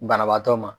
Banabaatɔ ma